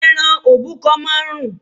Ẹran òbúkọ máa ń rùn